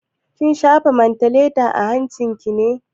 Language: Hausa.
Kin shafa mantaleta a hancin ki ne?